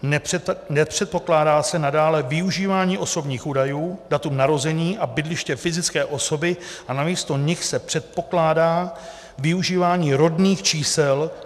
Nepředpokládá se nadále využívání osobních údajů, datum narození a bydliště fyzické osoby a namísto nich se předpokládá využívání rodných čísel.